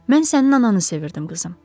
Mən sənin ananı sevirdim, qızım.